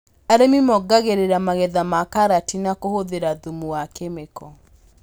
Arĩmi mongagĩrĩra magetha ma karati na kũhũthĩra thumu wa kemiko